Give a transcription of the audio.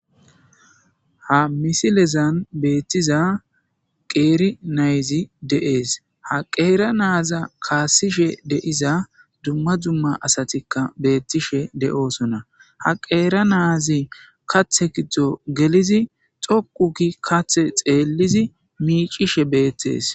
ha misilezan beettiza qeeri nayzi de7ees ha qeera naaza kaassishe de7iza dumma dzumma asatikka beettishe de7oosona ha qeera naazi katha giddo gelidi dhoqu gi katha xeellishe miicishe beettees